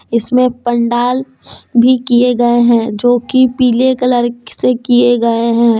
इसमें पंडाल भी किए गए हैं जो की पीले कलर से किए गए हैं।